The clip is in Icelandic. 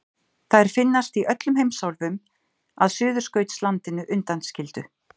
Þær finnast í öllum heimsálfum að Suðurskautslandinu undanskildu.